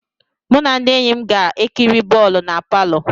Mụ na ndị enyi m ga-ekiri bọọlụ na palọ.